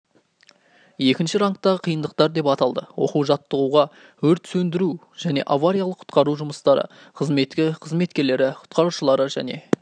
екінші рангтағы қиындықтар деп аталды оқу-жаттығуға өрт сөндіру және авариялық-құтқару жұмыстары қызметі қызметкерлері құтқарушылары және